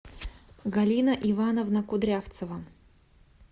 галина ивановна кудрявцева